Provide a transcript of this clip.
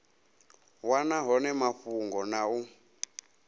wana hone mafhungo na u